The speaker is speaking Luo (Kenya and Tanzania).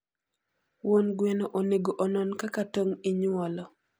Won gweno onego onon kaka tong inyuolo